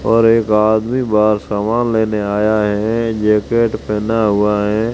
और एक आदमी बाहर सामान लेने आया हैं जैकेट पहना हुआ हैं।